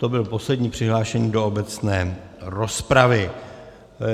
To byl poslední přihlášený do obecné rozpravy.